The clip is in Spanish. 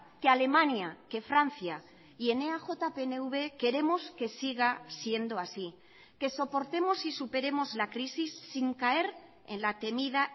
que alemania que francia y en eaj pnv queremos que siga siendo así que soportemos y superemos la crisis sin caer en la temida